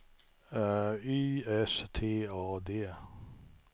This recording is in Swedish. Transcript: Y S T A D